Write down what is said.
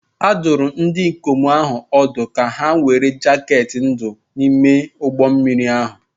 A dụrụ ndị ikom ahụ ọdụ ka ha were jaket ndụ n'ime ụgbọ mmiri ahụ